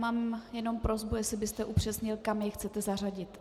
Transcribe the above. Mám jenom prosbu, jestli byste upřesnil, kam je chcete zařadit.